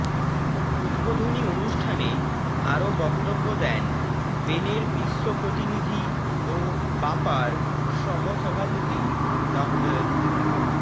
উদ্বোধনী অনুষ্ঠানে আরো বক্তব্য দেন বেনের বিশ্ব প্রতিনিধি ও বাপার সহসভাপতি ড